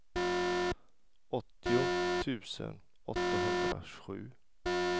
åttio tusen åttahundrasju